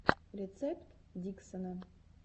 рецепт диксона